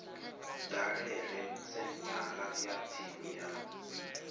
dalele senthara ya tsini ya